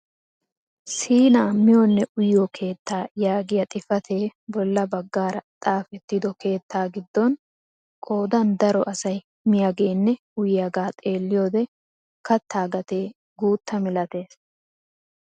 Siinaa miyonne uyiyoo keettaa yaagiyaa xifatee bolla baggaara xaafettido keettaa giidon qoodan daro asay miyaaganne uyiyaagaa xeelliyoode kattaa gatee guutta milatees!